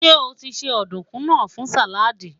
ṣé otise ọdunkun nà fún salad?